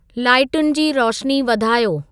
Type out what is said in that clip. लाइटुनि जी रोशनी वधायो